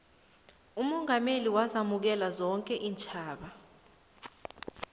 umongameli wazamukela zonke iintjhaba